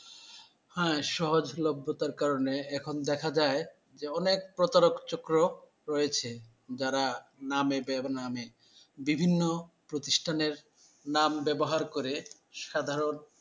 হ্যা সহজলভ্যতার কারনে এখন দেখা যায় যে অনেক প্রতারক চক্র রয়েছে যারা নামে বেনামে বিভিন্ন প্রতিষ্ঠানের নাম ব্যাবহার করে সাধারণ